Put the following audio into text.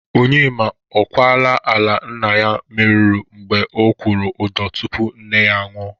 Onyema, ọ kwala ala nna ya meruru mgbe ọ kwụrụ ụdọ tupu nne ya anwụ?